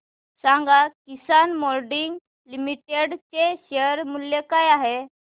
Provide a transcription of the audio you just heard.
सांगा Kisan moulding limited चे share मूल्य काय आहे